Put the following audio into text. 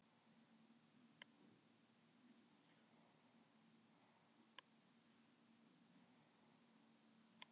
Kannski er það svo að nýtt líf eigi fyrir mér að liggja.